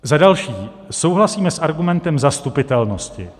Za další, souhlasíme s argumentem zastupitelnosti.